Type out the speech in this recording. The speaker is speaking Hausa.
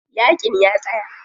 Yaƙin ya tsaya.